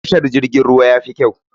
Tashar jirgin ruwa yafi kyau.